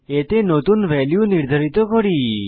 এতে নতুন ভ্যালু নির্ধারিত করি